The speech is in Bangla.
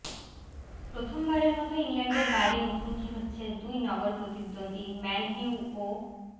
প্রথমবারের মতো ইংল্যান্ডের বাইরে মুখোমুখি হচ্ছে দুই নগর প্রতিদ্বন্দ্বী ম্যানইউ ও